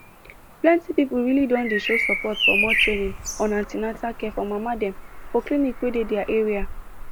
plenty people really don dey show support for more training on an ten atal care for mama dem for clinics wey dey their area